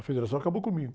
A federação acabou comigo.